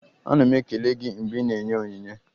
Ana m ekele gị mgbe ị na-enye onyinye.